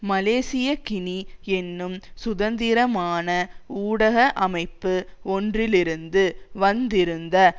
Malaysiakini என்னும் சுதந்திரமான ஊடக அமைப்பு ஒன்றிலிருந்து வந்திருந்த